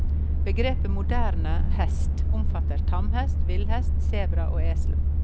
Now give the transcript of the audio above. Begrepet moderne hest omfatter tamhest, villhest, sebra og esel.